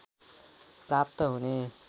प्राप्त हुने